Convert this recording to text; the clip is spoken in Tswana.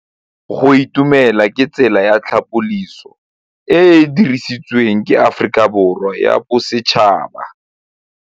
Go itumela ke tsela ya tlhapolisô e e dirisitsweng ke Aforika Borwa ya Bosetšhaba.